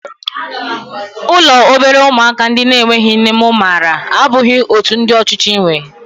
Ụlọ obere ụmụaka ndị na-enweghị nne mụ maara abụghị otú ndị ọchịchị nwee